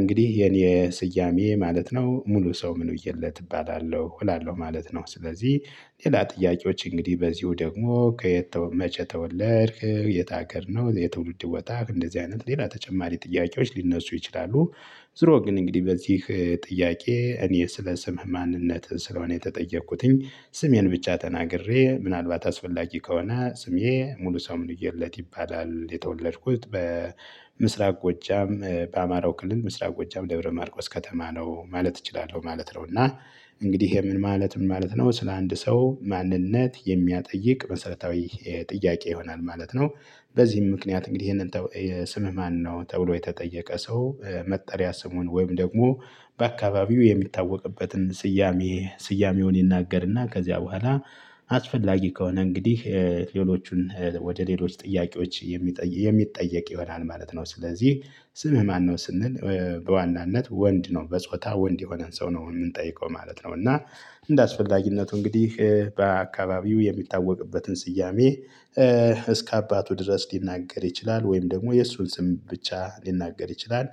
እንግዲህ የኔ ስያሜ ማለት ነው ሙሉሰው ምንውዬለት እባላለሁ እላለሁ ማለት ነው። ስለዚህ ሌላ ጥያቄዎች እንግዲህ በዚሁ ደግሞ ከየት መቼ ተወለድክ? የት አገር ነው የትውልድ ቦታህ እንደዚህ አይነት ሌላ ተጨማሪ ጥያቄዎች ሊነሱ ይችላሉ። ዙሮ ግን እንግዲህ በዚህ ጥያቄ እኔ ስለ ስምህ ማንነትህን ስለሆነ የተጠየቅኩትኝ። ስሜን ብቻ ተናግሬ ምናልባት አስፈላጊ ከሆነ ስሜ ሙሉሰው ምንዬለት ይባላል። የተወለድኩት በምስራቅ ጎጃም በአማራው ክልል ምስራቅ ጎጃም ደብረ ማርቆስ ከተማ ነው ማለት እችላለሁ ማለት ነው። እና እንግዲህ ይሄ ምን ማለት ምን ማለት ነው ስለ አንድ ሰው ማንነት የሚያጠይቅ መሰረታዊ ጥያቄ ይሆናል ማለት ነው። በዚህም ምክንያት እንግዲህ ይሄንን ስምህ ማነው ተብሎ የተጠየቀ ሰው። መጠሪያ ስሙን ወይም ደግሞ በአካባቢው የሚታወቅበትን ስያሜ ስያሜውን ይናገርና ከዚያ በኋላ አስፈላጊ ከሆነ እንግዲህ ሌሎቹን ወደ ሌሎች ጥያቄዎች የሚጠይቅ ይሆናል ማለት ነው። ስለዚህ ስምህ ማነው ስንል በዋናነት ወንድ ነው በጾታ ወንድ የሆነን ሰው ነው የምንጠይቀው ማለት ነው። እና እንደ አስፈላጊነቱ እንግዲህ በአካባቢው የሚታወቅበትን ስያሜ እስከ አባቱ ድረስ ሊናገር ይችላል ወይም ደግሞ የእሱን ስም ብቻ ሊናገር ይችላል።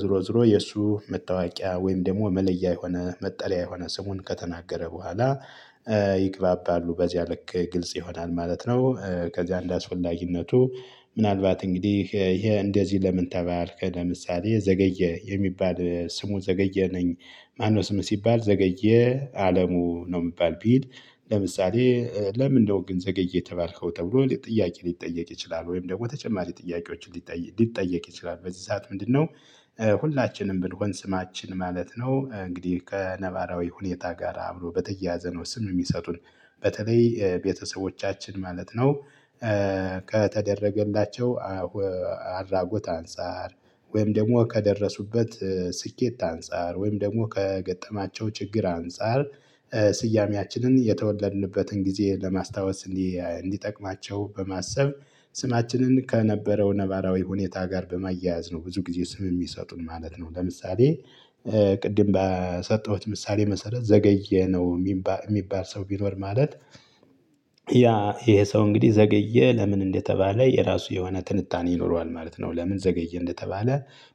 ዞሮ ዞሮ የእሱ መታወቂያ ወይም ደግሞ መለያ የሆነ መጠሪያ የሆነ ስሙን ከተናገረ በኋላ ይግባባሉ በዚያ ልክ ግልጽ ይሆናል ማለት ነው። ከዚያ እንደአስፈላጊነቱ ምናልባት እንግዲህ ይሄ እንደዚህ ለምን ተባልክ ለምሳሌ ዘገየ የሚባል ስሙ ዘገየ ነኝ። ማነው ስም ሲባል ዘገየ አለሙ ነው የሚባል ቢል። ለምሳሌ ለምንድነው ግን ዘገየ የተባልከው ተብሎ ጥያቄ ሊጠየቅ ይችላል። ወይም ደግሞ ተጨማሪ ጥያቄዎችን ሊጠየቅ ይችላል በዚህ ሰዓት ምንድነው? ሁላችንም ብንሆን ስማችን ማለት ነው እንግዲህ ከነባራዊ ሁኔታ ጋር አብሮ በተያያዘ ነው ስም የሚሰጡን በተለይ ቤተሰቦቻችን ማለት ነው። ከተደረገላቸው አድራጎት አንፃር ወይም ደግሞ ከደረሱበት ስኬት አንፃር ወይም ደግሞ ከገጠማቸው ችግር አንፃር። ስያሜያችንን የተወለድንበትን ጊዜ ለማስታወስ እንዲጠቅማቸው በማሰብ ስማችንን ከነበረው ነባራዊ ሁኔታ ጋር በማያያዝ ነው ብዙ ጊዜ ስም የሚሰጡን ማለት ነው። ለምሳሌ ቅድም በሰጠሁት ምሳሌ መሰረት ዘገየ ነው። የሚባል ሰው ቢኖር ማለት ያ ይሄ ሰው እንግዲህ ዘገየ ለምን እንደተባለ የራሱ የሆነ ትንታኔ ይኖረዋል ማለት ነው። ለምን ዘገየ እንደተባለ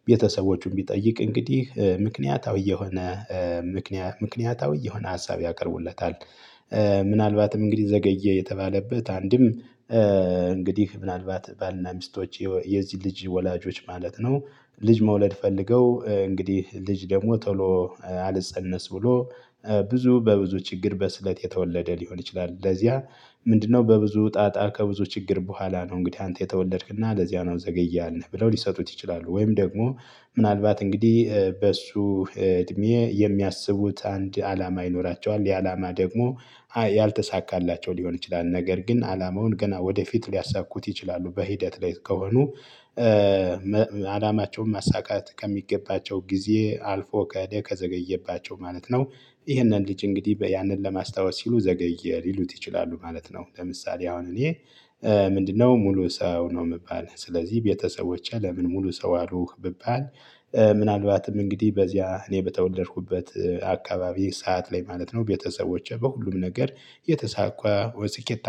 ቤተሰቦቹን ቢጠይቅ እንግዲህ ምክንያታዊ የሆነ ምክንያታዊ የሆነ ሀሳብ ያቀርቡለታል። ምናልባትም እንግዲህ ዘገየ የተባለበት አንድም እንግዲህ ምናልባት ባልና ሚስቶች የዚህ ልጅ ወላጆች ማለት ነው ልጅ መውለድ ፈልገው እንግዲህ ልጅ ደግሞ ቶሎ አልፀነስ ብሎ ብዙ በብዙ ችግር በስለት የተወለደ ሊሆን ይችላል። ለዚያ ምንድነው በብዙ ጣጣ ከብዙ ችግር በኋላ ነው እንግዲህ አንተ የተወለድክና ለዚያ ነው ዘገየ ያልንህ ብለው ሊሰጡት ይችላሉ። ወይም ደግሞ ምናልባት እንግዲህ በእሱ እድሜ የሚያስቡት አንድ አላማ ይኖራቸዋል ያ አላማ ደግሞ ያልተሳካላቸው ሊሆን ይችላል ነገር ግን አላማውን ገና ወደፊት ሊያሳኩት ይችላሉ በሂደት ላይ ከሆኑ። አላማቸውን ማሳካት ከሚገባቸው ጊዜ አልፎ ከሄደ ከዘገየባቸው ማለት ነው። ይህንን ልጅ እንግዲህ ያንን ለማስታወስ ሲሉ ዘገየ ሊሉት ይችላሉ ማለት ነው። ለምሳሌ አሁን እኔ ምንድነው ሙሉሰው ነው የምባል ስለዚህ ቤተሰቦቼ ለምን ሙሉሰው አሉህ ብባል። ምናልባትም እንግዲህ በዚያ እኔ በተወለድኩበት አካባቢ ሰዓት ላይ ማለት ነው። ቤተሰቦቼ በሁሉም ነገር የተሳቋ ወይ ስኬት